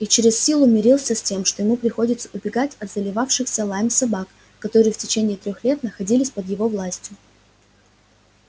он через силу мирился с тем что ему приходится убегать от заливающихся лаем собак которые в течение трёх лет находились под его властью